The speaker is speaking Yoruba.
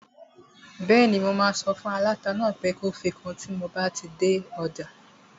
Bẹ́ẹ̀ni, mo máa sọ fún aláta náà pé kó fi kun tíi n bá dé ọjà